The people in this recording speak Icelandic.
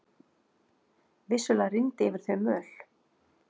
Vissulega rigndi yfir þau möl.